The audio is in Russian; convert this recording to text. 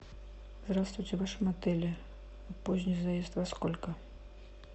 здравствуйте в вашем отеле поздний заезд во сколько